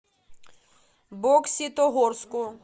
бокситогорску